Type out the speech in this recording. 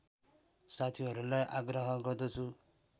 साथीहरूलाई आग्रह गर्दछु